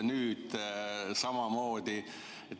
Nüüd on samamoodi.